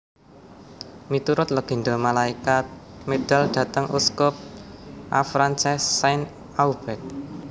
Miturut legenda malaikat medal dhateng uskup Avranches Saint Aubert